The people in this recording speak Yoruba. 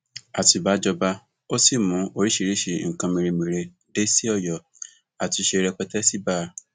àtibá jọba o ò sì mú oríṣiríṣii nǹkan mèremère dé sí ọyọ àtúnṣe rẹpẹtẹ sí bá a